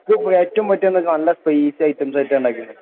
ഇത് ഏറ്റവും നല്ല ക്രസിയായിട്ട്